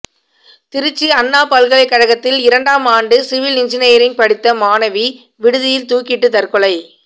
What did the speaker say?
திருச்சி அண்ணா பல்கலைக்கழகத்தில் இரண்டாம் ஆண்டு சிவில் என்ஜினியரிங் படித்த மாணவி விடுதியில் தூக்கிட்டு தற்கொலை